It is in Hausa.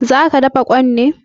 Zaka dafa ƙwai ɗin ne?